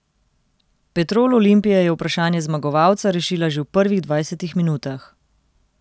Petrol Olimpije je vprašanje zmagovalca rešila že v prvih dvajsetih minutah.